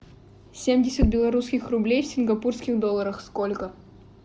семьдесят белорусских рублей в сингапурских долларах сколько